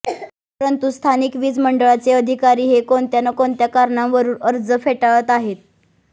परंतू स्थानिक वीज मंडळाचे अधिकारी हे कोणत्या न कोणत्या कारणावरून अर्ज फेटाळत आहेत